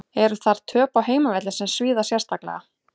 Eru þar töp á heimavelli sem svíða sérstaklega.